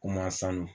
Ko maa sanu